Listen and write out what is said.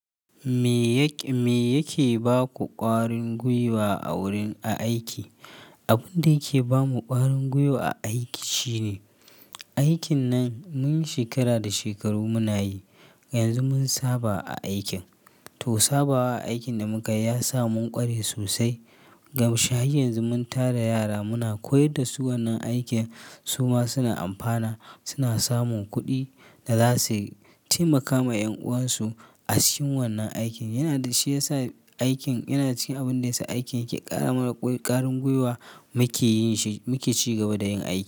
Me yake ba ku ƙarin gwiwa a wurin a aiki? Abin da yake ba mu ƙarin gwiwa a aiki shine, aikin nan mun yi shekara da shekaru muna yi. Yanzu mun saba a aikin, to sabawa a aikin da muka yi ya sa mun ƙware sosai. Ga shi yanzu mun tara yara muna koyar da su wannan aikin su ma suna amfana, suna samun kuɗi da za suyi taimaka ma ƴan uwansu a cikin wannan aikin. Yana da shi ya sa aikin yana cikin abin da ya sa aiki yake ƙara mana ƙarin gwiwa muke ci gaba da yin aiki.